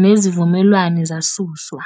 neziVumelwano zasuswa.